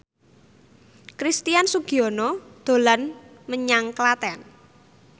Christian Sugiono dolan menyang Klaten